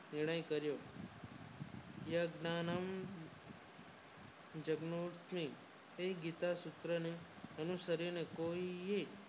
નિર્યણ કર્યો યજમાનદ જન્મ થી એ ગીતા સૂત્ર ને અનુસરીએ કોઈએ